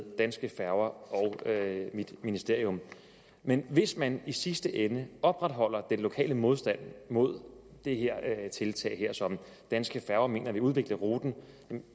danske færger og mit ministerium men hvis man i sidste ende opretholder den lokale modstand mod det her tiltag som danske færger mener vil udvikle ruten